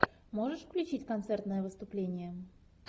можешь включить концертное выступление